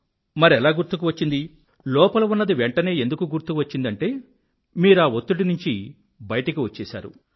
మరెలా గుర్తుకు వచ్చింది లోపల ఉన్నది వెంఠనే ఎందుకు గుర్తుకు వచ్చిందంటే మీరా వత్తిడి నుండి బయటకు వచ్చేశారు